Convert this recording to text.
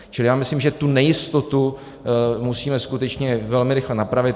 Čili já myslím, že tu nejistotu musíme skutečně velmi rychle napravit.